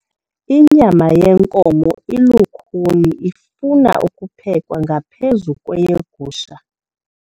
Inyama yenkomo ilukhuni ifuna ukuphekwa ngaphezu kweyegusha.